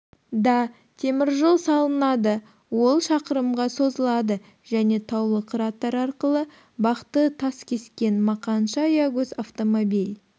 да теміржол салынады ол шақырымға созылады және таулы қыраттар арқылы бақты таскескен мақаншы аягөз автомобиль